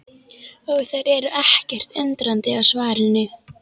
Og þær eru ekkert undrandi á svarinu.